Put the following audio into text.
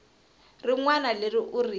rin wana leri u ri